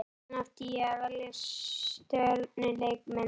Hvaðan átti ég að velja stjörnuleikmennina?